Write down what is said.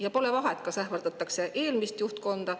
Ja pole vahet, et ähvardatakse eelmist juhtkonda.